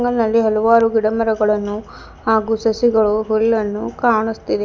ನಲ್ಲಿ ಹಲವಾರು ಗಿಡಮರಗಳನ್ನು ಹಾಗೂ ಸಸಿಗಳು ಹುಲ್ಲನ್ನು ಕಾಣುಸ್ತಿದೆ.